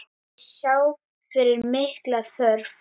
Þeir sjá fyrir mikla þörf.